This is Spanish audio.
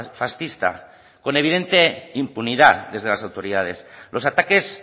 fascista con evidente impunidad desde las autoridades los ataques